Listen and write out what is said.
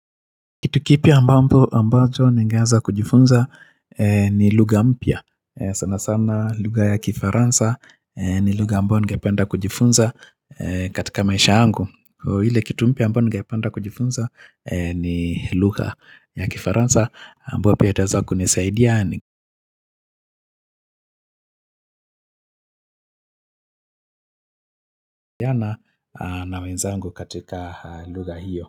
Kitu kipya ambacho ningeanza kujifunza ni lugha mpya. Sana sana lugha ya kifaransa ni lugha ambayo ningependa kujifunza katika maisha yangu. Kwa hiyo ile kitu mpya ambayo nigependa kujifunza ni lugha ya kifaransa ambayo pia itaweza kunisaidia ni kuwasiliana na wenzangu katika lugha hiyo.